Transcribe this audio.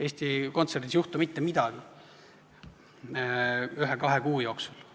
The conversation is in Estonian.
Eesti Kontserdis ei juhtu mitte midagi ühe-kahe kuu jooksul.